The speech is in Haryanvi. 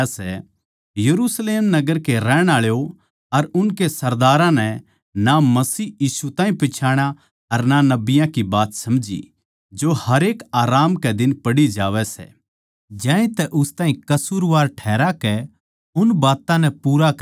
यरुशलेम नगर के रहणआळो अर उनकै सरदारां नै ना मसीह यीशु ताहीं पिच्छाणा अर ना नबियाँ की बात समझी जो हरेक आराम कै दिन पढ़ी जावैं सै ज्यांतै उस ताहीं कसूरवार ठहराकै उन बात्तां नै पूरा करया